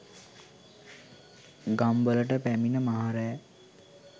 ගම් වලට පැමිණ මහ රෑ